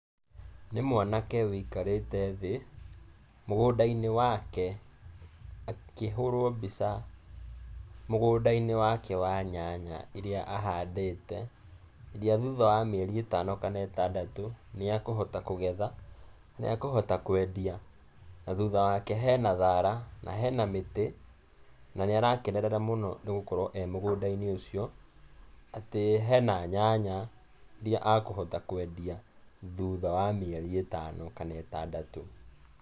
Nĩ mwanake, wĩikarĩte thĩ, mũgũnda-inĩ wake, akĩhũrũo mbica, mũgũnda-inĩ wake wa nyanya iria ahandĩte, iria thutha wa mĩeri ĩtano kana ĩtandatũ, nĩekũhota kũgetha, nĩekũhota kũendia. Na thutha wake hena thara, na hena mĩtĩ, na nĩarakenerera mũno nĩ gũkorũo e mũgũnda-inĩ ũcio, ,atĩ hena nyanya, iria akũhota kũendia, thutha wa mĩeri ĩtano kana ĩtandatũ.